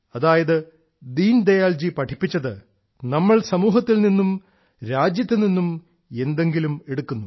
അതായത് ദീനദയാൽജി പഠിപ്പിച്ചത് നമ്മൾ സമൂഹത്തിൽ നിന്നും രാജ്യത്തു നിന്നും എന്തെങ്കിലും എടുക്കുന്നു